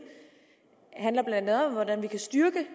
handler blandt andet om hvordan man kan styrke